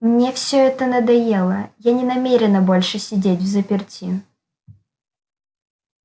мне всё это надоело я не намерена больше сидеть взаперти